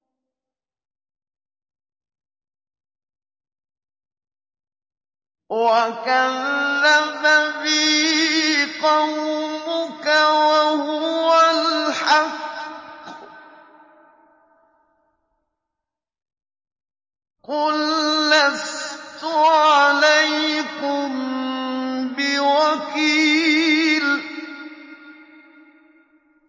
وَكَذَّبَ بِهِ قَوْمُكَ وَهُوَ الْحَقُّ ۚ قُل لَّسْتُ عَلَيْكُم بِوَكِيلٍ